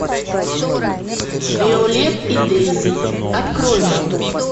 виолет и дейзи открой мне